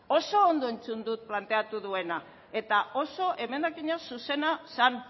oso ondo entzun dut planteatu duena eta oso emendakina zuzena zen